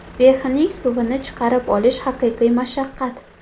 Behining suvini chiqarib olish haqiqiy mashaqqat!